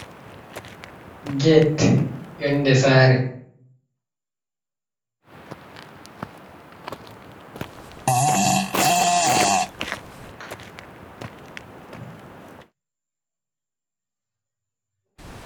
Get yonde sare.